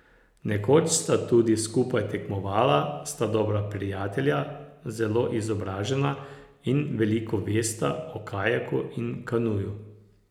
Nekoč sta tudi skupaj tekmovala, sta dobra prijatelja, zelo izobražena in veliko vesta o kajaku in kanuju.